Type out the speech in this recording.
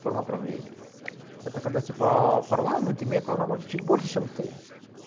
форма правления это когда типа парламент имеет полномочия чуть больше чем ты